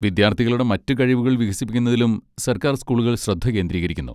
വിദ്യാർത്ഥികളുടെ മറ്റ് കഴിവുകൾ വികസിപ്പിക്കുന്നതിലും സർക്കാർ സ്കൂളുകൾ ശ്രദ്ധ കേന്ദ്രീകരിക്കുന്നു.